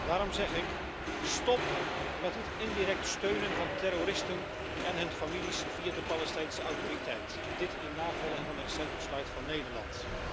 Daarom zeg ik stop met het indirect steunen van terroristen en hun families via de Palestijnse Autoriteit, dit in navolging van een recent besluit van Nederland.